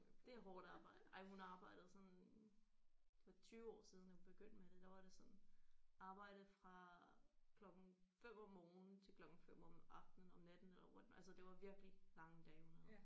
Det er hårdt arbejde ej hun arbejdede sådan det var 20 år siden at hun begyndte med det der var det sådan arbejde fra klokken 5 om morgenen til klokken 5 om aftenen om natten eller what altså det var virkelig lange dage hun havde